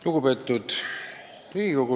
Lugupeetud Riigikogu!